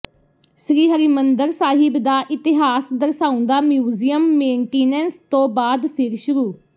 ਸ੍ਰੀ ਹਰਿਮੰਦਰ ਸਾਹਿਬ ਦਾ ਇਤਿਹਾਸ ਦਰਸਾਉਂਦਾ ਮਿਊਜ਼ੀਅਮ ਮੇਨਟੀਨੈਂਸ ਤੋਂ ਬਾਅਦ ਫਿਰ ਸ਼ੁਰੂ